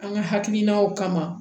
An ka hakilinaw kama